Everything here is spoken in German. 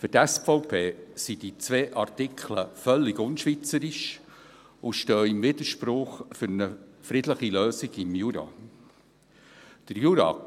Für die SVP sind die beiden Artikel völlig unschweizerisch und stehen im Widerspruch zu einer friedlichen Lösung im Jura.